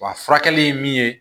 Wa furakɛli ye min ye